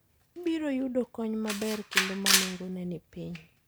Ibiro yudo kony maber kendo ma nengone ni piny.